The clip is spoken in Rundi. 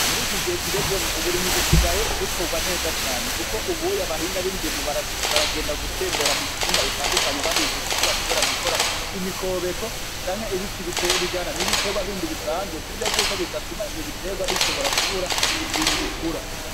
Muri gihe tugezemwo uburimyi busigaye bukorwa neza cane kuko ubunye abahinga b'indimo baragenda gutembera m'umitumba itandukanye babigisha uko bashobora gukora imikobeko canke ibiti bijana n'ibindi biterwa bindi bisanzwe kuburyo bwuko ivyo biterwa bishobora kubura ukuntu bikura.